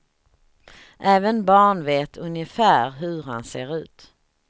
Även barn vet ungefär hur han ser ut.